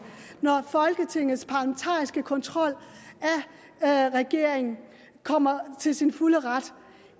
og folketingets parlamentariske kontrol af regeringen kommer til sin fulde ret